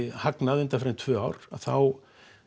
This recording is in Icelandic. hagnað undanfarin tvö ár að þá